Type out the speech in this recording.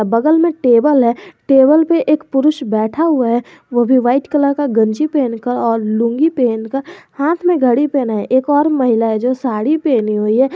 बगल में टेबल है टेबल पे एक पुरुष बैठा हुआ है वो भी वाइट कलर का गंजी पहनकर और लुंगी पहनकर हाथ में घड़ी पहना है एक और महिलाएं जो साड़ी पहनी हुई है।